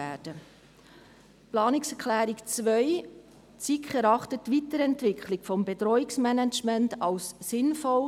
Zur Planungserklärung 2: Die SiK erachtet die Weiterentwicklung des Bedrohungsmanagements als sinnvoll.